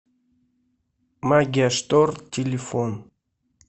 магия штор телефон